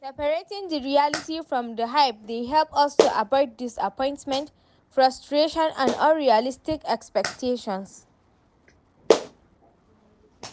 Separating di reality from di hype dey help us to avoid disappointment, frustration and unrealistic expectations.